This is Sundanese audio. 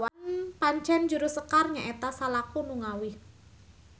Pancen juru sekar nya eta salaku nu ngawih.